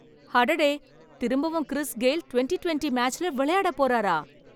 அடடே! திரும்பவும் Chris Gayle twenty twenty மேட்ச்ல விளையாட போறாரா